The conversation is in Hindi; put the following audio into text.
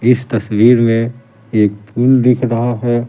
इस तस्वीर में एक पुल दिख रहा है।